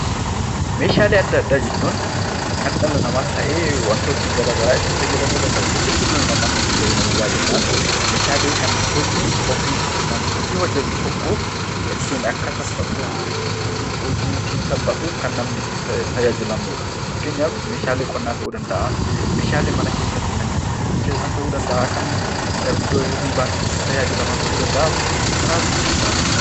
Meeshaalee addaa addaa jechuun kan dhala namaas ta'ee wantoonni gara garaa itti fayyadamuu danda'u keessattuu dhala namaatu itti fayyadama baay'inaan. Meeshaalee kan hojii ofii yookaan hojii hojjetu tokko ittiin akka hojiin sun salphatuuf kan namni itti tajaajilamu dha. Fakkeenyaaf meeshaalee qonnaa ta'uu danda'aa, meeshaalee mana keessatti kan nyaata ittiin bilcheessan ta'uu danda'aa, kan iddoo hirribaa tiif itti rajaajilaman ta'uu danda'aa fi kanaafii kan kana fakkaatan dha.